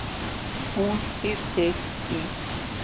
Hún býr í